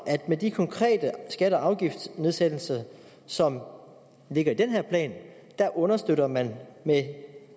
at med de konkrete skatte og afgiftsnedsættelser som ligger i den her plan understøtter man med